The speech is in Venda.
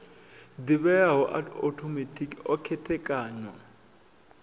ḓivheaho a othomethikhi o khethekanywa